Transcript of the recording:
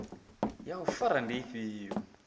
ya u fara ndi ifhio